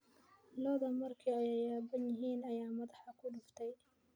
Lo'du markii ay yaaban yihiin ayaa madaxa ku dhuftay.